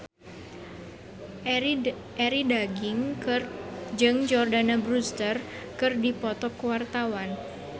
Arie Daginks jeung Jordana Brewster keur dipoto ku wartawan